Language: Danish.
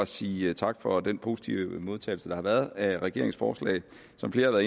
sige tak for den positive modtagelse der har været af regeringsforslaget som flere har